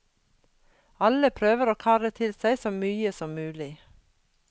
Alle prøver å karre til seg så mye som mulig.